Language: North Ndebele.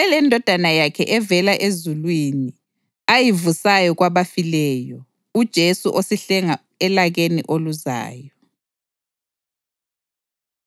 lilindele leNdodana yakhe evela ezulwini, ayivusayo kwabafileyo, uJesu osihlenga elakeni oluzayo.